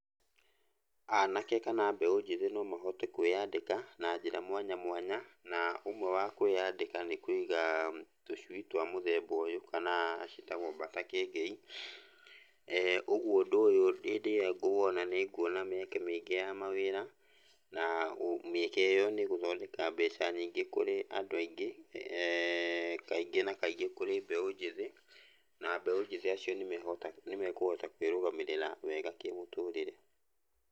Anake kana mbeũ njĩthĩ nomahote kwĩyandĩka na njĩra mwanya mwanya na ũmwe wa kwĩyandĩka nĩ kũiga tũcui twa mũthemba ũyũ kana ciĩtagwo mbata kĩengei, ũguo ũndũ ũyũ hĩndĩ ĩrĩa ngũwona nĩ nguona mĩeke mĩingĩ ya mawĩra, na mĩeke ĩyo nĩ ĩgũthondeka mbeca nyingĩ kũrĩ andũ aingĩ, kaingĩ na kaingĩ kũrĩ mbeũ njĩthĩ, na mbeũ njĩthĩ acio nĩmehota nĩmekũhota kwĩrũgamĩrĩra wega kĩmũtũrĩre.